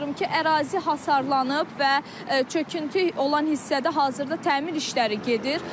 ərazi hasarlanıb və çöküntü olan hissədə hazırda təmir işləri gedir.